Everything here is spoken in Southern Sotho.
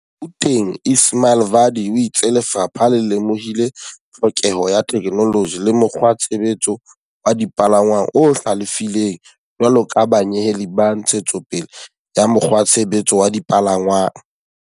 Gaut eng Ismail Vadi o itse lefapha le lemohile tlhokeho ya theke -noloji le mokgwatshebetso wa dipalangwang o hlalefileng jwalo ka banyeheli ba ntshetso pele ya mokgwatshebetso wa dipalangwang.